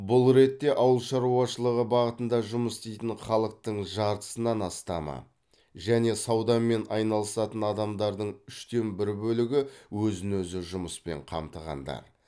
бұл ретте ауыл шаруашылығы бағытында жұмыс істейтін халықтың жартысынан астамы және саудамен айналысатын адамдардың үштен бір бөлігі өзін өзі жұмыспен қамтығандар